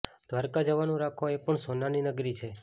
દ્રારકા જવાનું રાખો એ પણ સોનાની નગરી છે